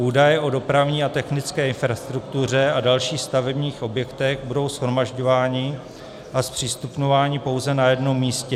Údaje o dopravní a technické infrastruktuře a dalších stavebních objektech budou shromažďovány a zpřístupňovány pouze na jednom místě.